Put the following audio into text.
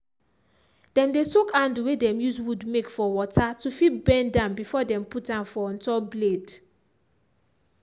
dem dey soak handle way dem use wood make for water to fit bend am before dem put am for on top blade.